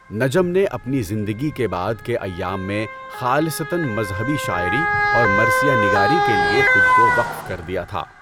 نجم نے اپنی زندگی کے بعد کے ایام میں خالصتًا مذہبی شاعری اور مرثیہ نگاری کے لیے خود کو وقف کر دیا تھا۔